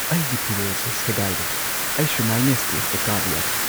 ꯑꯩꯒꯤ ꯐꯤꯔꯣꯜ ꯁꯦ ꯁꯦꯒꯥꯏꯔꯦ꯫ ꯑꯩ ꯁꯨꯃꯥꯏꯅ ꯁ꯭ꯇꯦꯖꯇ ꯀꯥꯕ ꯌꯥꯔꯣꯏ꯫